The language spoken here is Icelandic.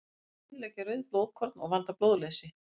Þau eyðileggja rauð blóðkorn og valda blóðleysi.